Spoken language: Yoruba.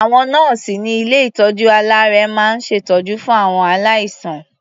Àwọn nọ́ọ̀sì ní ilé-ìtọ́jú-aláàárẹ̀ máa ń ṣètọ́jú fún àwọn aláìsàn.